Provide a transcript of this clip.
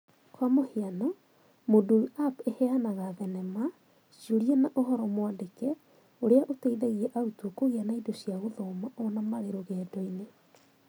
Kwa mũhiano, Moodle App ĩheanaga thenema, ciũria na ũhoro mwandĩke ũrĩa ũteithagia arutwo kũgĩa na indo cia gũthoma o na marĩ rũgendo-inĩ.